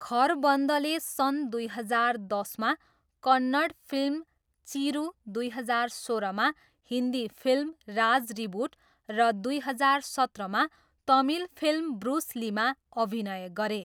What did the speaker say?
खरबन्दले सन् दुई हजार दसमा कन्नड फिल्म चिरू, दुई हजार सोह्रमा हिन्दी फिल्म राज रिबुट र दुई हजार सत्रमा तमिल फिल्म ब्रुस लीमा अभिनय गरे।